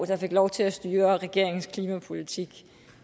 der fik lov til at styre regeringens klimapolitik